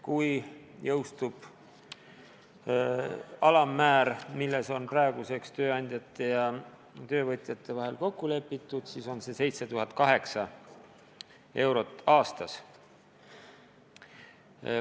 Kui jõustub alammäär, milles on praeguseks tööandjate ja töövõtjate vahel kokku lepitud, siis on see 7008 eurot aastas.